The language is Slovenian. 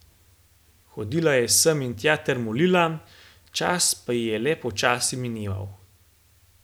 Hodila je sem in tja ter molila, čas pa ji je le počasi mineval.